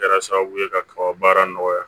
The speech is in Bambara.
Kɛra sababu ye ka kaba baara nɔgɔya